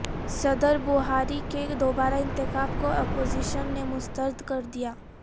صدربوہاری کے دوبارہ انتخاب کو اپوزیشن نے مسترد کردیا